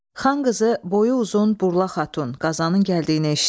Xan qızı boyu uzun Burla xatun Qazanın gəldiyini eşitdi.